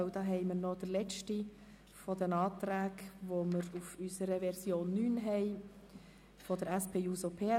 Denn es handelt sich um den letzten der Anträge gemäss unserer Version 9, einen Antrag der SP-JUSO-PSA.